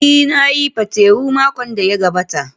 Ee, na yi patewo makon da ya gabata.